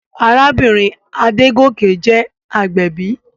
Arábìnrin Adégòkè jẹ́ agbẹ̀bí.